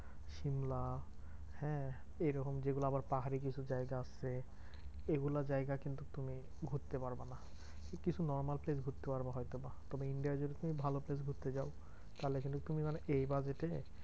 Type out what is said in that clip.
সিমলা হ্যাঁ? এরকম আবার যেগুলা আবার পাহাড়ি কিছু জায়গা আছে এগুলা জায়গা কিন্তু ঘুরতে পারবা না। কিছু normal place ঘুরতে পারবা হয়ত বা। তবে India য় যদি তুমি ভালো place ঘুরতে চাও তাহলে কিন্তু তুমি মানে এই budget এ